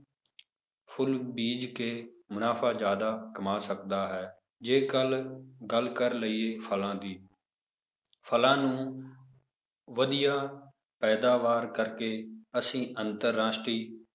ਫੁੱਲ ਬੀਜ਼ ਕੇ ਮੁਨਾਫ਼ਾ ਜ਼ਿਆਦਾ ਕਮਾ ਸਕਦਾ ਹੈ ਜੇਕਰ ਗੱਲ ਕਰ ਲਈਏ ਫਲਾਂ ਦੀ ਫਲਾਂ ਨੂੰ ਵਧੀਆ ਪੈਦਾਵਾਰ ਕਰਕੇ ਅਸੀਂ ਅੰਤਰ ਰਾਸ਼ਟਰੀ